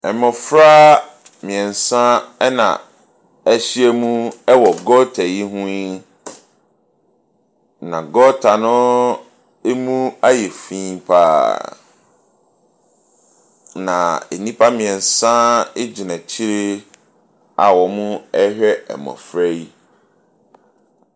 Mmɔfra mmeɛnsa na wɔahyia mu wɔ gɔta yi ho yi. Na gɔta no mu ayɛ fi pa ara. Na nnipa mmeɛnsa gyina akyire a wɔrehwɛ mmɔfra yi.